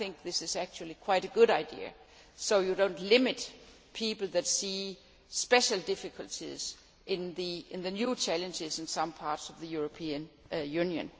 I think this is quite a good idea, so you do not limit people that see special difficulties in the new challenges in some parts of the European Union.